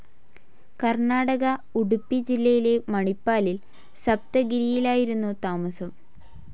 കർണാടക ഉഡുപ്പി ജില്ലയിലെ മണിപ്പാലിൽ സപ്തഗിരിയിലായിരുന്നു താമസം.